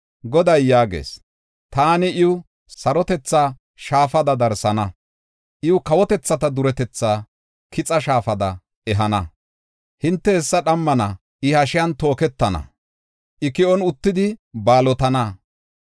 Goday yaagees; “Taani iw sarotethaa shaafada darsana; iw kawotethata duretetha kixa shaafada ehana. Hinte hessa dhammana; I hashiyan tooketana; I ki7on uttidi baalotana.